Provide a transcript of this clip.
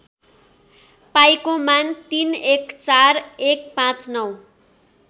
पाईको मान ३१४१५९